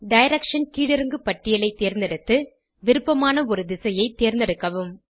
direction கீழிறங்கு பட்டியலை தேர்ந்தெடுத்து விருப்பமான ஒரு திசையைத் தேர்ந்தெடுக்கவும்